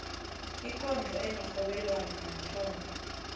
ikondlo enerhobelwano mathomo